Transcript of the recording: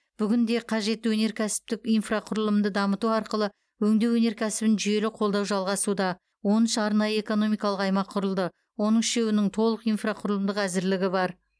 бүгінде қажетті өнеркәсіптік инфрақұрылымды дамыту арқылы өңдеу өнеркәсібін жүйелі қолдау жалғасуда он үш арнайы экономикалық аймақ құрылды оның үшеуінің толық инфрақұрылымдық әзірлігі бар